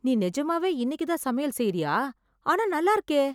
நீ நிஜமாவே இன்னைக்கு தான் சமையல் செய்ரியா ஆனா நல்லா இருக்கே